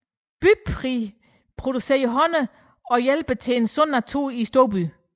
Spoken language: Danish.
Bybi producerer honning og hjælper til en sund natur i storbyen